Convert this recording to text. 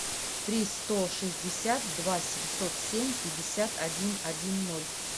три сто шестьдесят два семьсот семь пятьдесят один один ноль